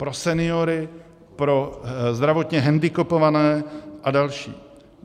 Pro seniory, pro zdravotně hendikepované a další.